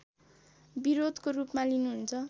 विरोधको रूपमा लिनुहुन्छ